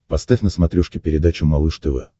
поставь на смотрешке передачу малыш тв